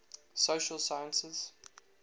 social sciences